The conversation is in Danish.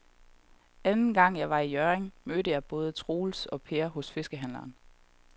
Anden gang jeg var i Hjørring, mødte jeg både Troels og Per hos fiskehandlerne.